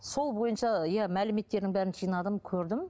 сол бойынша иә мәліметтердің бәрін жинадым көрдім